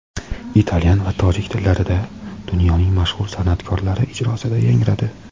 italyan va tojik tillarida) dunyoning mashhur san’atkorlari ijrosida yangradi.